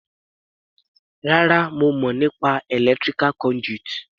Rárá, mo mọ̀ nípa electrical conduit.